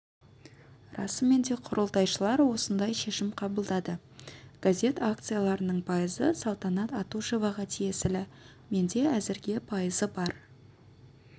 расымен де құрылтайшылар осындай шешім қабылдады газет акцияларының пайызы салтанат атушеваға тиесілі менде әзірге пайызы бар